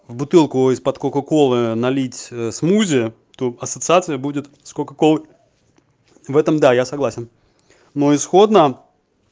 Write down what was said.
в бутылку из под кока-колы налить смузи то ассоциация будет с коко-колой в этом да я согласен но исходно